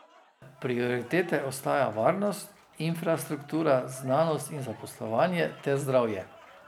Prioritete ostajajo varnost, infrastruktura, znanost in zaposlovanje ter zdravje.